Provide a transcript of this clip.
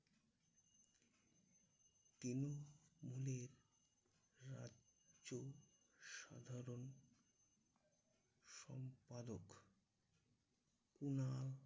তিনি হলেন রাজ্য সাধারণ সম্পাদক কুনাল